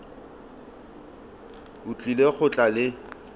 o tlile go tla le